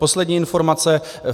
Poslední informace.